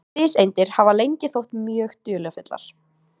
Fiseindir hafa lengi þótt mjög dularfullar.